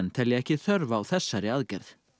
telja ekki þörf á þessari aðgerð